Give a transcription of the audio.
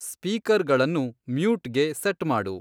ಸ್ಪೀಕರ್‌ಗಳನ್ನು ಮ್ಯೂಟ್‌ಗೆ ಸೆಟ್ ಮಾಡು